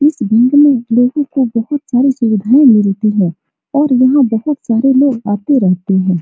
इस भीड़ में लोगो को बहुत सारी सुविधाएँ मिलती हैं और यहाँ बहुत सारे लोग आते रहते हैं।